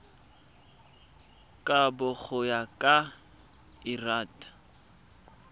kabo go ya ka lrad